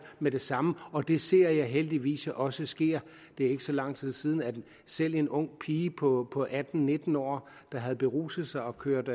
med det samme og det ser jeg heldigvis også sker det er ikke så lang tid siden at selv en ung pige på atten til nitten år der havde beruset sig og kørt